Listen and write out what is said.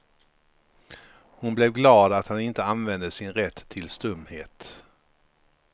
Hon blev glad att han inte använde sin rätt till stumhet.